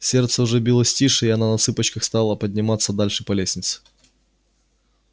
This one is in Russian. сердце уже билось тише и она на цыпочках стала подниматься дальше по лестнице